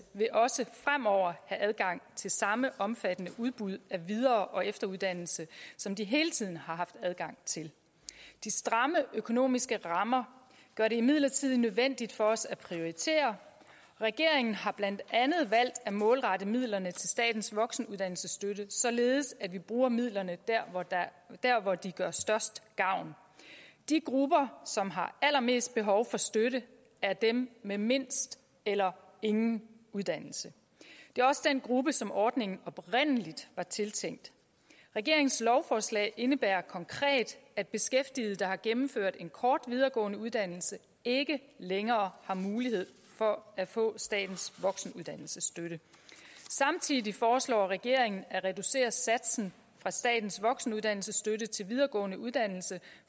vil også fremover have adgang til samme omfattende udbud af videre og efteruddannelse som de hele tiden har haft adgang til de stramme økonomiske rammer gør det imidlertid nødvendigt for os at prioritere regeringen har blandt andet valgt at målrette midlerne til statens voksenuddannelsesstøtte således at vi bruger midlerne der hvor de gør størst gavn de grupper som har allermest behov for støtte er dem med mindst eller ingen uddannelse det er også den gruppe som ordningen oprindelig var tiltænkt regeringens lovforslag indebærer konkret at beskæftigede der har gennemført en kort videregående uddannelse ikke længere har mulighed for at få statens voksenuddannelsesstøtte samtidig foreslår regeringen at reducere satsen for statens voksenuddannelsesstøtte til videregående uddannelse